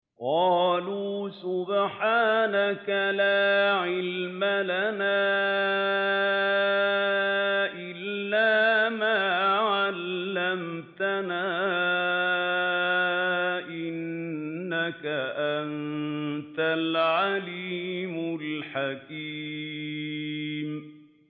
قَالُوا سُبْحَانَكَ لَا عِلْمَ لَنَا إِلَّا مَا عَلَّمْتَنَا ۖ إِنَّكَ أَنتَ الْعَلِيمُ الْحَكِيمُ